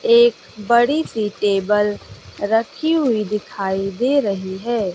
एक बड़ी सी टेबल रक्खी हुई दिखाई दे रही है।